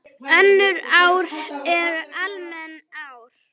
Önnur ár eru almenn ár.